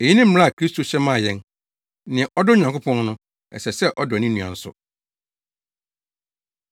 Eyi ne mmara a Kristo hyɛ maa yɛn. Nea ɔdɔ Onyankopɔn no, ɛsɛ sɛ ɔdɔ ne nua nso.